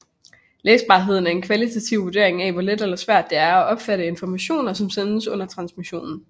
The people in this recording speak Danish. Læsbarhed er en kvalitativ vurdering af hvor let eller svært der er at opfatte informationen som sendes under transmissionen